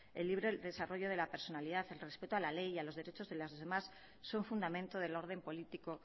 el libre desarrollo de la personalidad en respeto a la ley a los derechos de los demás son fundamento del orden político